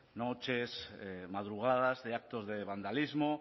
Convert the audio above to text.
noches madrugadas de actos de vandalismo